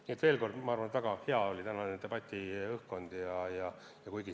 Nii et veel kord: ma arvan, et tänane debatiõhkkond oli väga hea.